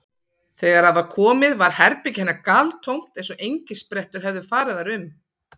Þegar að var komið var herbergi hennar galtómt eins og engisprettur hefðu farið þar um.